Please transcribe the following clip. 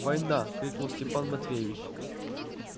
война крикнул степан матвеевич